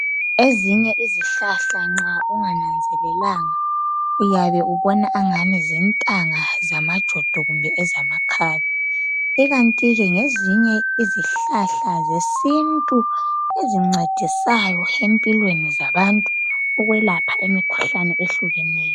Ezinye izihlahla nxa ungananzelelanga uyabe ubona ingani zintanga zamjodo kumbe ezamakhabe ikanti ke ngezinye izihlahla zesintu ezincedisayo empilweni zabantu ukwelapha imikhuhlane ehlukeneyo